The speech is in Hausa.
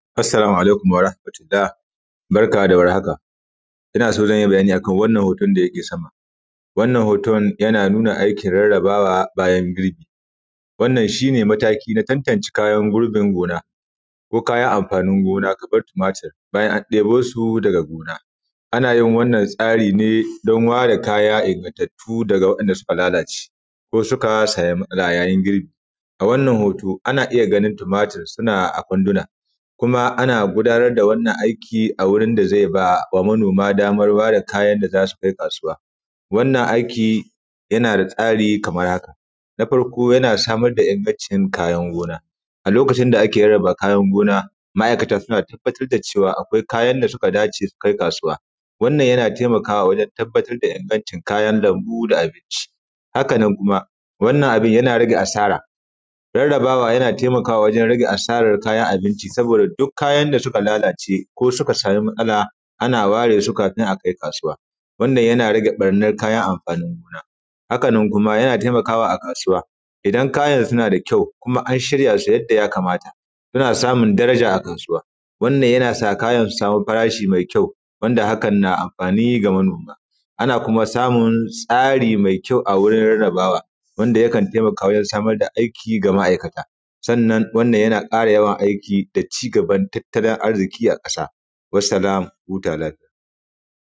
Assalamu alaikum warahamatullah barka da war haka ina son zan yi bayani ne akan wannan hoton da yake sama. Wannan hoton yana nuna aikin rarrabawa bayan girbi wannan shi ne mataki na tantance kayan girbin gona ko kayan amfanin gona kaman tumatir in an debo su daga gona. Ana yin wannan tsari ne don ware kaya ingantattu daga wa’inda suka lalace ko suka samu matsala ya yin girbi. A wannan hoto ana iya ganin tumatir suna a kwanduna kuma ana gudanar da wannan aiki a gurin da zeba wa manoma damar ware kayan da zasu kai kasuwa. Wannan aiki yana da tsari kamar haka :- Na farko yana samar da ingancin kayan gona, a lokacin da ake rarraba kayan gona ma’aikata suna tabbatar da cewa akwai kayan da suka dace akai kasuwa, wannan yana taimakawa wajen tabbatar da ingancin kayan lambu da abinci. Haka nan kuma wannan abin yana rage asara, rarrabawa yana taimakawa wajen rage asarar kayan abinci saboda duk kayan da suka lalace ko suka samu matsala ana waresu kafin akai kasuwa, wannan yana rage barnan kayan amfanin gona, haka nan kuma yana taimakawa a kasuwa idan kayan suna da kyau kuma an shiryasu yadda ya kamata suna samun daraja a kasuwa, wannan yana sa kayan su samu fara shi mai kyau wanda hakan na amfani ga manoma. Ana kuma samun tsari mai kyau a wurin rarrabawa wanda yakan taimakawa wajen samar da aiki ga ma’aikata sannan wannan yana ƙara yawan aiki da cigaban tattalin arziki a ƙasa. Wasalam ku huta lafiya.